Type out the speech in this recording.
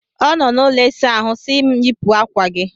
Ọ nọ n'ụlọ ịsa ahụ si m yipụ akwa gị!